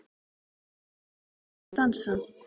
Eins og það er gaman að dansa!